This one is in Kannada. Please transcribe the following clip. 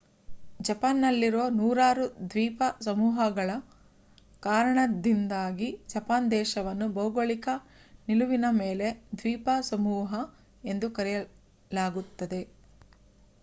ಜಪಾನ್‌ನಲ್ಲಿರುವ ನೂರಾರು ದ್ವೀಪ ಸಮೂಹಗಳ ಕಾರಣದಿಂದಾಗಿ ಜಪಾನ್ ದೇಶವನ್ನು ಭೌಗೋಳಿಕ ನಿಲುವಿನ ಮೇಲೆ ದ್ವೀಪಸಮೂಹ ಎಂದು ಕರೆಯಲಾಗುತ್ತದೆ